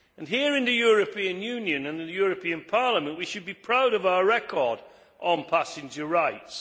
Here in the European Union and the European Parliament, we should be proud of our record on passenger rights.